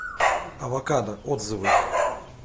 авокадо отзывы